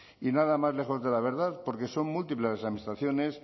y nada más lejos de la verdad porque son múltiples las administraciones